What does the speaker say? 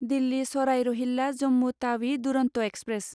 Delhi Sarai Rohilla Jammu Tawi Duronto express